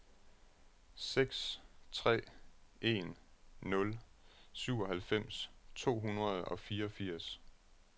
seks tre en nul syvoghalvfems to hundrede og fireogfirs